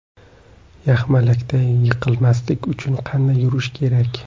Yaxmalakda yiqilmaslik uchun qanday yurish kerak?.